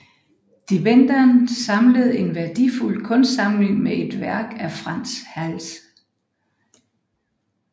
De Bendern samlede en værdifuld kunstsamling med et værk af Frans Hals